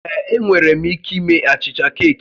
Ee, enwere m ike ime achịcha keeki